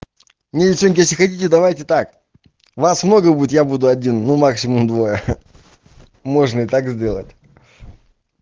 не девчонки если хотите давайте так вас много будет я буду один ну максимум двое можно и так сделать